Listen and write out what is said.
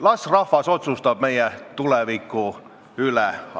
Las rahvas otsustab meie tuleviku üle.